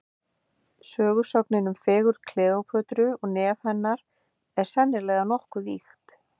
Sögusögnin um fegurð Kleópötru og nef hennar, er sennilega nokkuð ýkt.